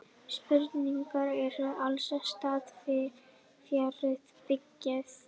Sprungureinin er alls staðar fjarri byggð.